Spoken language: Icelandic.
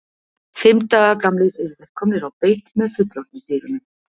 Fimm daga gamlir eru þeir komnir á beit með fullorðnu dýrunum.